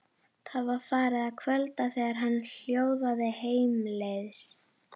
Það var farið að kvölda þegar hann hjólaði heimleiðis.